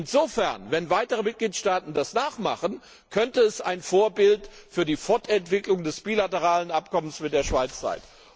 Insofern wenn weitere Mitgliedstaaten das nachmachen könnte es ein Vorbild für die Fortentwicklung des bilateralen Abkommens mit der Schweiz